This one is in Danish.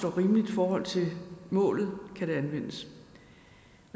er rimeligt i forhold til målet kan magt anvendes